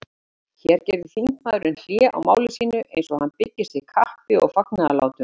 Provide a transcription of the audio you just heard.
Hér gerði þingmaðurinn hlé á máli sínu, eins og hann byggist við klappi og fagnaðarlátum.